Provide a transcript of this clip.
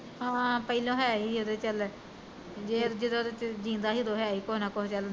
ਹਾਂ ਪੈਹਲਾ ਹੈ ਸੀ ਵੀ ਚੱਲ ਜੇ ਜਦੋਂ ਜੀਂਦਾ ਸੀ ਉਦੋਂ ਹੈ ਸੀ ਕੁਛ ਨਿਕਲ ਆਉਂਦਾ ਜੇ